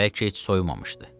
Bəlkə heç soyumamışdı.